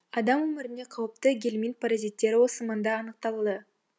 адам өміріне қауіпті гельминт паразиттері осы маңда анықталды